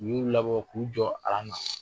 U y'u labɔ k'u jɔ na.